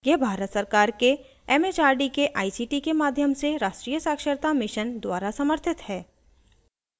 यह भारत सरकार के it it आर डी के आई सी टी के माध्यम से राष्ट्रीय साक्षरता mission द्वारा समर्थित है